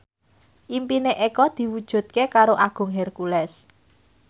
impine Eko diwujudke karo Agung Hercules